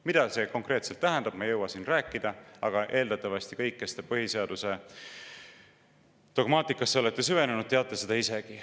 Mida see konkreetselt tähendab, seda ma ei jõua siin rääkida, aga eeldatavasti teie kõik, kes te põhiseaduse dogmaatikasse olete süvenenud, teate seda isegi.